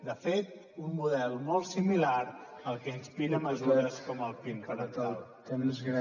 de fet un model molt similar al que inspira mesures com el pin parental